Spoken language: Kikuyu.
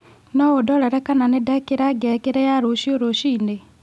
no ũndorere kana nĩ ndekĩra ngengere ya rũcio rũciini